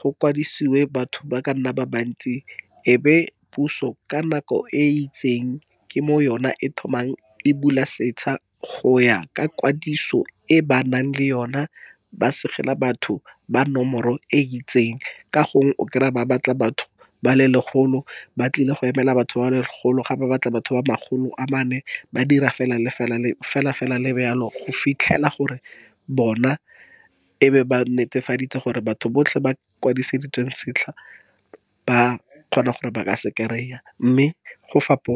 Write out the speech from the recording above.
Go kwadisiswe batho ba ka nna ba bantsi, e be puso ka nako e itseng ke mo yona e thomang e bula setšha, go ya ka kwadiso e ba nang le yona, ba segela batho ba nomoro e itseng ka gongwe o kry-a ba batla batho ba le legolo. Ba tlile go emela batho ba legolo ga ba batla batho ba makgolo a mane ba dira fela le fela go fitlhela gore bona e be ba netefaditse gore batho botlhe, ba kwadisitsweng setlha ba kgona gore ba ka se kry-a mme go fapa.